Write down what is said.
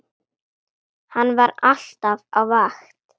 Hann var alltaf á vakt.